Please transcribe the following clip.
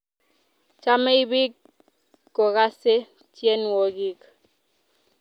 Chamei piik kokase tyenwogik